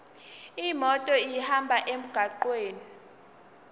imoto ihambe emgwaqweni